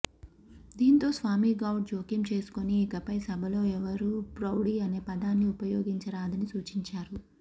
దీంతో స్వామిగౌడ్ జోక్యం చేసుకుని ఇకపై సభలో ఎవరూ రౌడీ అనే పదాన్ని ఉపయోగించరాదని సూచించారు